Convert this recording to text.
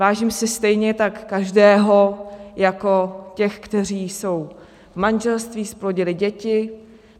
Vážím si stejně tak každého jako těch, kteří jsou v manželství, zplodili děti.